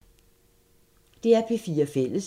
DR P4 Fælles